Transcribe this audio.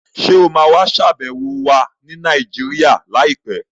Ṣé o ma wà ṣàbẹ̀wọ̀ wa ni Nàìjíríà láìpẹ́?